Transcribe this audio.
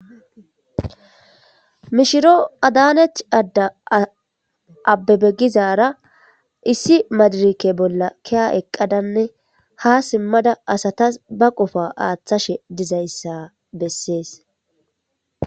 Mishiro adaanech adda abbebegizara issi madirike bolla kiya eqqadanne ha simmada asatas ba qofa aaththashe dizayssa bessees.